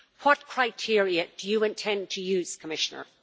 What criteria do you intend to use, Commissioner?